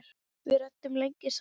Við ræddum lengi saman.